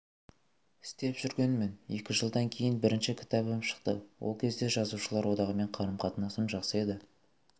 істеп жүргенмін екі жылдан кейін бірінші кітабым шықты ол кезде жазушылар одағымен қарым-қатынасым жақсы еді